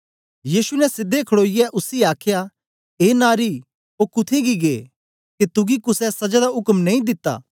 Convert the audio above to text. यीशु ने सीधे खड़ोईयै उसी आख्या ए नारी ओ कुत्थें गी गै के तुगी कुसे सजा दा उक्म नेई दिता